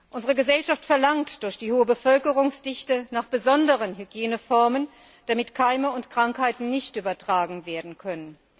Unsere Gesellschaft verlangt durch die hohe Bevölkerungsdichte nach besonderen Hygieneformen, damit Keime und Krankheiten nicht übertragen werden können.